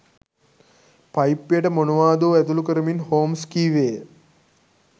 පයිප්පයට මොනවාදෝ ඇතුළු කරමින් හෝම්ස් කීවේය